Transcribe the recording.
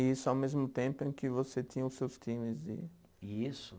E isso ao mesmo tempo em que você tinha os seus times de. Isso.